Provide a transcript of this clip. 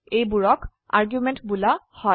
এইবোৰক আৰ্গুমেন্ট বোলা হয়